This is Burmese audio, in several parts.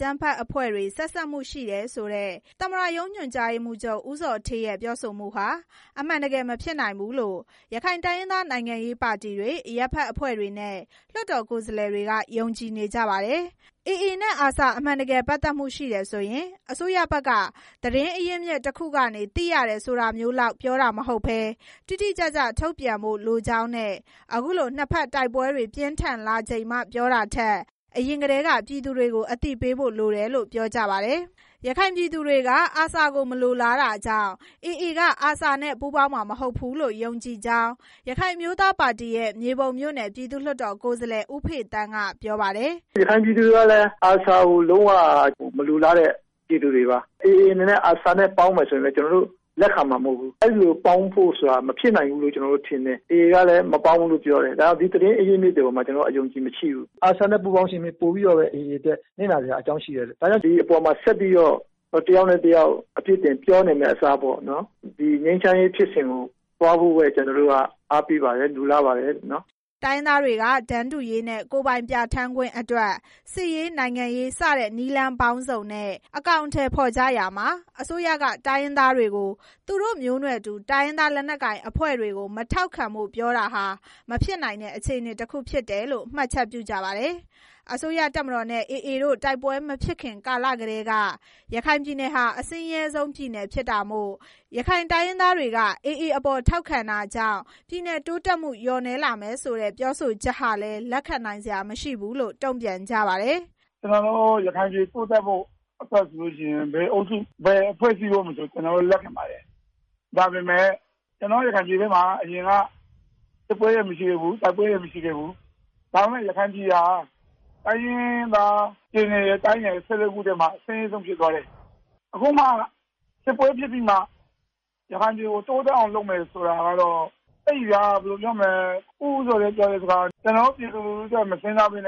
ကြမ်းဖက်အဖွ့ဲတွေ ဆက်စပ်မှုရှိတယ်ဆိုတဲ့ သမ္မတရုံး ညွန်ကြားရေးမှူးချုပ် ဦးဇော်ဌေးရဲ့ ပြောဆိုမှုဟာ အမှန်တကယ် မဖြစ်နိုင်ဘူးလို့ ရခိုင်တိုင်းရင်းသား နိုင်ငံရေးပါတီတွေ၊ အရပ်ဖက်အဖွဲ့တွေနဲ့ လွှတ်တော် ကိုယ်စားလှယ်တွေက ယုံကြည်နေကြပါတယ်။ AA နဲ့ ARSA အမှန်တကယ် ပတ်သက်မှုရှိတယ်ဆိုရင် အစိုးရဘက်က သတင်းအရင်းအမြစ်တစ်ခုက သိရတယ်ဆိုတာမျိုးလောက် ပြောတာမဟုတ်ဘဲ တိတိကျကျထုတ်ပြန်ဖို့လိုကြောင်းနဲ့ အခုလို နှစ်ဖက်တိုက်ပွဲတွေ ပြင်းထန်လာချိန်မှ ပြောတာထက် အရင်ကတည်းက ပြည်သူတွေကို အသိပေးဖို့လိုတယ်လို့လည်း ပြောကြပါတယ်။ ရခိုင်ပြည်သူတွေက ARSA ကို မလိုလားတာကြောင့် AA က ARSA နဲ့ ပူးပေါင်းမှာ မဟုတ်ဘူးလို့ ယုံကြည်ကြောင်း ရခိုင်အမျိုးသားပါတီရဲ့ မြေပုံမြို့နယ် ပြည်သူ့လွှတ်တော်ကိုယ်စားလှယ် ဦးဖေသန်းက ပြောပါတယ်။ “ရခိုင်ပြည်သူတွေကလည်း ARSA ကိုလုံးဝ မလိုလားတဲ့ ပြည်သူတွေပါ။ AA အနေနဲ့ ARSA နဲ့ ပေါင်းမယ် ဆိုရင်လည်း ကျနော်တို့လက်ခံမှာ မဟုတ်ဘူး။ အဲလိုပေါင်းဖို့ဆိုတာ မဖြစ်နိုင်ဘူးလို့ ကျနော်တို့ ထင်တယ်။ AA ကလည်း ပူးပေါင်းမှာ မဟုတ်ဘူးလို့ ပြောတယ်။ ဒါကြောင့် ဒီသတင်းအရင်းအမြစ်တွေပေါ်မှာ ကျနော်တို့ အယုံအ ကြည်မရှိဘူး။ ARSA နဲ့ ပူးပေါင်းခြင်းဖြစ် ပိုပြီးတော့ပဲ AA အတွက် နစ်နာစရာရှိတယ်။ ဒါကြောင့် ဒီအပေါ်မှာ တစ်ယောက်နဲ့ တစ်ယောက် ဆက်ပြီးတော့ အပြစ်တင်ပြောနေမယ့်အစား ငြိမ်းချမ်းရေးဖြစ်စဉ်ကို သွားဖို့ပဲ အားပေးပါတယ်။ လိုလားပါတယ်။” တိုင်းရင်းသားတွေက တန်းတူရေးနဲ့ ကိုယ်ပိုင်ပြဌာန်းခွင့်အတွက် စစ်ရေး၊ နိုင်ငံရေး စတဲ့ နည်းလမ်းပေါင်းစုံနဲ့ အကောင်အထည်ဖော်ကြရာမှာ အစိုးရက တိုင်းရင်းသားတွေကို သူတို့မျိုးနွယ်တူ တိုင်းရင်းသားလက်နက်ကိုင် အဖွဲ့တွေကို မထောက်ခံဖို့ ပြောတာဟာ မဖြစ်နိုင်တဲ့ အခြေအနေတစ်ခုဖြစ်တယ်လို့ မှတ်ချက်ပြုကြပါတယ်။ အစိုးရတပ်မတော်နဲ့ AA တို့ တိုက်ပွဲမဖြစ်ခင်ကာလကတည်းက ရခိုင်ပြည်နယ်ဟာ အဆင်းရဲဆုံးပြည်နယ်ဖြစ်တာမို့ ရခိုင်တိုင်းရင်းသားတွေက AA အပေါ် ထောက်ခံတာကြောင့် ပြည်နယ်တိုးတက်မှု လျော့နည်းလာမယ်ဆိုတဲ့ ပြောဆိုချက်ဟာလည်း လက်ခံနိုင်စရာမရှိဘူးလို့ တုံ့ပြန်ကြပါတယ်။ “ကျနော်တို့ ရခိုင်ပြည်တိုးတက်ဖို့ဆိုရင် ဘယ်အုပ်စု၊ ဘယ်အဖွဲ့အစည်းမဆို ကျနော်တို့ လက်ခံပါတယ်။ ဒါပေမဲ့ ကျနော်တို့ ရခိုင်ပြည်ထဲမှာ အရင်က စစ်ပွဲတွေမရှိခဲ့ဘူး။ တိုက်ပွဲတွေမရှိခဲ့ဘူး။ ဒါပေမဲ့ ရခိုင်ပြည်နယ်ဟာ တိုင်းနဲ့ ပြည်နယ် ၁၄ ခုထဲမှာ အဆင်းရဲဆုံးပြည်နယ်ဖြစ်သွားတယ်။ အခုမှ စစ်ပွဲဖြစ်ပြီးမှ ရခိုင်ပြည်နယ်ကို တိုးတက်အောင်လုပ်မယ်ဆိုတာက ကျနော်တို့ ပြည်သူလူထုအတွက် မစဉ်းစားဘဲ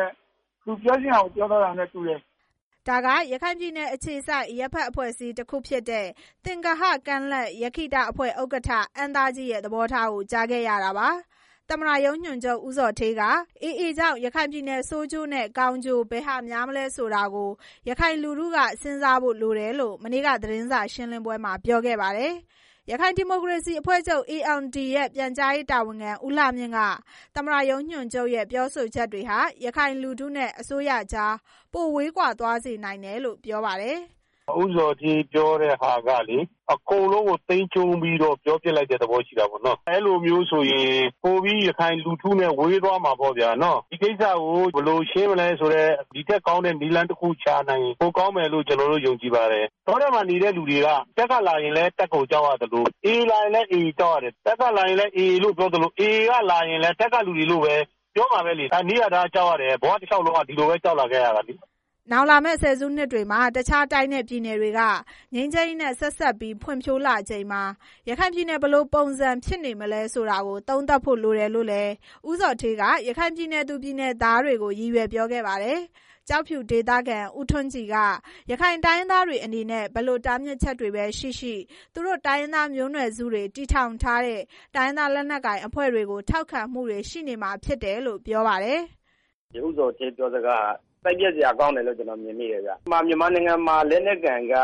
သူပြောချင်တာကို ပြောသွားတာနဲ့တူတယ်။” ဒါက ရခိုင်ပြည်နယ်အခြေစိုက် အရပ်ဖက်အဖွဲ့အစည်းတစ်ခုဖြစ်တဲ့ သင်္ဂဟကမ်းလက်ရက္ခိတအဖွဲ့ ဥက္ကဋ္ဌ အမ်းသားကြီးရဲ့ သဘောထားကို ကြားခဲ့ရတာပါ။ သမ္မတရုံး ညွန်ချုပ် ဦးဇော်ဌေးက AA ကြောင့် ရခိုင်ပြည်နယ် ဆိုးကျိုးနဲ့ ကောင်းကျိုး ဘယ်ဟာများမလဲဆိုတာကို ရခိုင်လူထုက စဉ်းစားဖို့လိုတယ်လို့လို့ မနေ့က သတင်းစာရှင်းလင်းပွဲမှာ ပြောခဲ့ပါတယ်။ ရခိုင်ဒီမိုကရေစီအဖွဲ့ချုပ် ALD ရဲ့ ပြန်ကြားရေးတာဝန်ခံ ဦးလှမြင့်က သမ္မတရုံးညွန်ချုပ်ရဲ့ ပြောဆိုမှုတွေဟာ ရခိုင်လူထုနဲ့ အစိုးရကြား ပိုဝေးကွာသွားစေနိုင်တယ်လို့ ပြောပါတယ်။ “ဦးဇော်ဌေးပြောတဲ့ဟာက အကုန်လုံးကို သိမ်းကြုံးပြီး ပြောပစ်လိုက်တဲ့ သဘောရှိတာပေါ့။ အဲလိုမျိုးဆိုရင် ပိုပြီးရခိုင်လူထုနဲ့ ဝေးသွားမှာပေါ့ဗျာ။ ဒီကိစ္စကို ဘယ်လိုရှင်းနိုင်မလဲဆိုတဲ့ ဒီထက်ကောင်းတဲ့ နည်းလမ်းရှာ ရင်ပိုကောင်းမယ်လို့ ကျနော်တို့ ယုံကြည်ပါတယ်။ တောထဲမှာနေတဲ့သူတွေက တပ်ကလာရင်လည်း တပ်ကို ကြောက်ရသလို AA လာရင် AA ကိုကြောက်ရတယ်။ တပ်ကလာရင်လည်း AA လို့ပြောသလို AA က လာရင်လည်း တပ်ကသူတွေလို့ပဲပြောမှာပဲ။ ဘဝတစ်လျှောက်လုံးမှာ ဒီလိုပဲ ကြောက်လာခဲ့ရတာပဲလေ။” နောင်လာမယ့် ၁၀ စုနှစ်တွေမှာ တခြားတိုင်းနဲ့ ပြည်နယ်တွေက ငြိမ်းချမ်းရေးနဲ့ ဆက်စပ်ပြီး ဖွံ့ဖြိုးလာချိန်မှာ ရခိုင်ပြည်နယ် ဘယ်လိုပုံစံဖြစ်နေမလဲဆိုတာ သုံးသပ်ဖို့လိုတယ်လို့လည်း ဦးဇော်ဌေးက ရခိုင်ပြည်နယ်သူ၊ ပြည်နယ်သားတွေကို ရည်ရွယ်ပြောခဲ့ပါတယ်။ ကျောက်ဖြူဒေသခံ ဦးထွန်းကြည်က တိုင်းရင်းသားတွေအနေနဲ့ ဘယ်လိုတားမြစ်ချက်တွေရှိရှိ သူတို့တိုင်းရင်းသား မျိုးနွယ်စုတွေ တည်ထောင်ထားတဲ့ တိုင်းရင်းသားလက်နက်ကိုင်အဖွဲ့တွေကို ထောက်ခံမှုတွေရှိနေမှာဖြစ်တယ်လို့ ပြောပါတယ်။ “ဦးဇော်ဌေး ပြောစကားဟာ စိတ်ပျက်စရာကောင်းတယ်လို့ ကျနော်မြင်မိတယ်။ မြန်မာနိုင်ငံမှာ လက်နက်ကိုင်က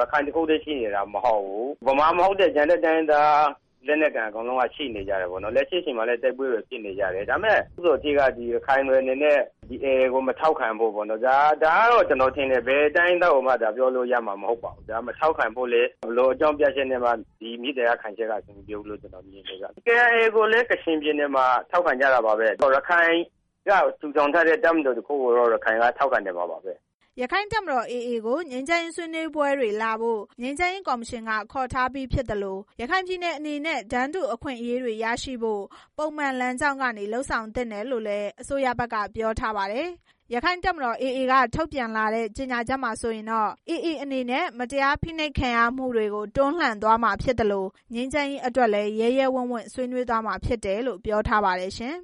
ရခိုင်တစ်ခုတည်းရှိနေတာ မဟုတ်ဘူး။ မြန်မာမဟုတ်တဲ့ တိုင်းရင်းသား လက်နက်ကိုင်က အကုန်လုံးရှိနေ ကြတယ်။ လက်ရှိအချိန်မှာလည်း တိုက်ပွဲတွေဖြစ်နေကြတယ်။ ဒါပေမဲ့ ဦးဇော်ဌေးက AA ကို မထောက်ခံကြဖို့ ဒါကတော့ ကျနော်ထင်တယ်။ ဘယ်တိုင်းရင်းသားကိုမှ ပြောလို့ရမှာမဟုတ်ပါဘူး။ မထောက်ခံဖို့လည်း ဘယ်လိုအကြောင်းပြချက်နဲ့မှ ဒီမေတ္တာရပ်ခံချက်က အဆင်မပြေဘူးလို့ ကျနော်မြင်တယ်။ KIA ကိုလည်း ကချင်ပြည်နယ်မှာ ထောက်ခံကြတာပါပဲ။ ရခိုင်ကထူထောင်ထားတဲ့ တပ်မတော်တစ်ခုကို ရခိုင်က ထောက်ခံနေမှာပါပဲ။” ရခိုင်တပ်မတော် AA ကို ငြိမ်းချမ်းရေးဆွေးနွေးပွဲတွေလာဖို့ ငြိမ်းချမ်းရေးကော်မရှင်က ခေါ်ထားပြီး ဖြစ်သလို ရခိုင်ပြည်နယ်အနေနဲ့ တန်းတူညီတူအခွင့်အရေးတွေရရှိဖို့ ပုံမှန်လမ်းကြောင်းက လုပ်ဆောင်သင့်တယ်လို့ အစိုးရဘက်က ပြောထားပါတယ်။ ရခိုင့်တပ်မတော် AA က ထုတ်ပြန်လာတဲ့ ကြေညာချက်မှာဆိုရင်တော့ AA အနေနဲ့ မတရားဖိနှိပ်ခံရမှုတွေကို တွန်းလှန်သွားမှာဖြစ်သလို ငြိမ်းချမ်းရေးအတွက်လည်း ရဲရဲဝံ့ဝံ့ဆွေးနွေးသွားမှာဖြစ်တယ်လို့ ပြောထားပါတယ်ရှင်